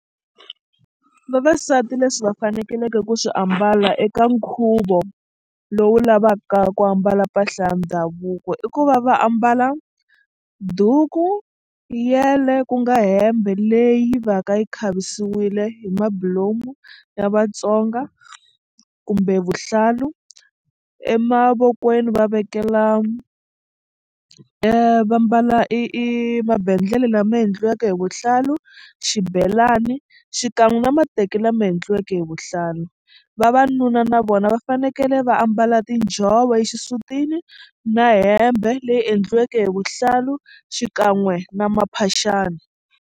Vavasati leswi va fanekeleke ku swi ambala eka nkhuvo lowu lavaka ku ambala mpahla ya ndhavuko i ku va va ambala duku, yele ku nga hembe leyi va ka yi khavisiwile hi mabulomu ya Vatsonga kumbe vuhlalu emavokweni va vekela va mbala i i mabendlele lama endliweke hi vuhlalu xibelani xikan'we na mateki lama endliweke hi vuhlalu. Vavanuna na vona va fanekele va ambala tinjhovo exisutini na hembe leyi endliweke hi vuhlalu xikan'we na maphaxani.